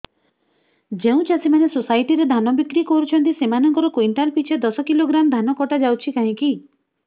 ଯେଉଁ ଚାଷୀ ମାନେ ସୋସାଇଟି ରେ ଧାନ ବିକ୍ରି କରୁଛନ୍ତି ସେମାନଙ୍କର କୁଇଣ୍ଟାଲ ପିଛା ଦଶ କିଲୋଗ୍ରାମ ଧାନ କଟା ଯାଉଛି କାହିଁକି